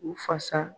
U fasa